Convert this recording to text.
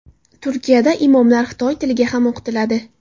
Turkiyada imomlar xitoy tiliga ham o‘qitiladi.